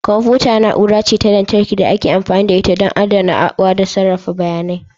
Kwamfuta na'ura ce ta lantarki da ake amfani da ita ɗon adanawa da sarrafa bayanai.